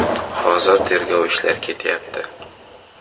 Hozir tergov ishlari ketyapti.